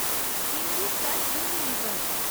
Hindustan Unilever